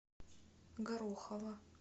горохова